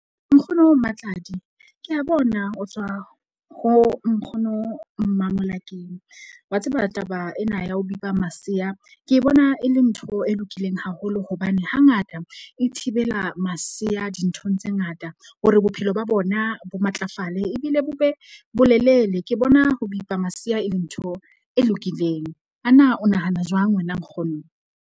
Nkgono Matladi ke a bona ho tswa ho nkgono Mmamolakeng wa tseba taba ena ya ho bipa masea. Ke bona e le ntho e lokileng haholo hobane hangata e thibela masea dinthong tse ngata. Hore bophelo ba bona bo matlafale ebile bo be bolelele ke bona ho bipa masea e le ntho e lokileng. Ana o nahana jwang wena nkgono?